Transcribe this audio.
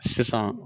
Sisan